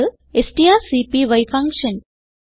ഇത് strcpy function